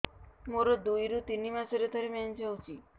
ମୋର ଦୁଇରୁ ତିନି ମାସରେ ଥରେ ମେନ୍ସ ହଉଚି